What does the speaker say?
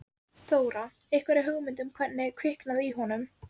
Það er aðdáunarvert hvað þær hafa haldið okkur út.